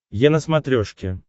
е на смотрешке